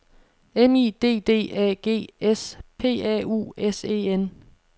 M I D D A G S P A U S E N